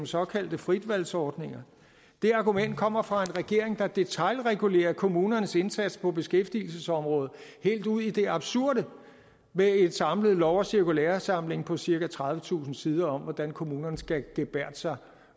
såkaldte fritvalgsordninger det argument kommer fra en regering der detailregulerer kommunernes indsats på beskæftigelsesområdet helt ud i det absurde med en samlet lov og cirkulæresamling på cirka tredivetusind sider om hvordan kommunerne skal gebærde sig